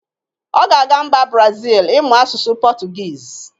Ọ ga-aga mba brazil ịmụ asụsụ pọtugiz